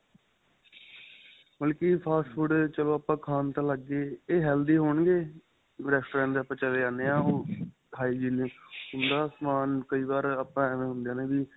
ਮਤਲਬ ਕਿ fast food ਚਲੋ ਆਪਾਂ ਖਾਣ ਤਾਂ ਲੱਗ ਗਏ ਏਹ healthy ਹੋਣਗੇ ਜਿਵੇਂ Restaurants ਤੇ ਆਪਾਂ ਚਲੇ ਜਾਂਦੇ ਏ ਉਹ ਉਹਨਾ ਦਾ ਸਮਾਨ ਕਈ ਵਾਰ ਆਪਾਂ ਐਵੇ ਹੁੰਦਾ ਏ ਵੀ